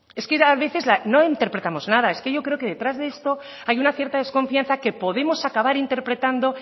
a veces no interpretamos nada es que yo creo que detrás de esto hay una cierta desconfianza que podemos acabar interpretando